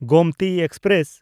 Gomti express